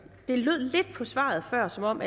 det lød lidt på svaret før som om